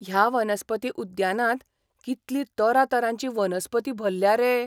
ह्या वनस्पती उद्यानांत कितली तरातरांची वनस्पती भल्ल्या रे!